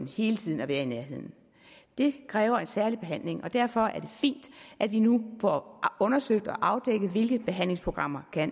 hele tiden være i nærheden det kræver en særlig behandling og derfor er det fint at vi nu får undersøgt og afdækket hvilke behandlingsprogrammer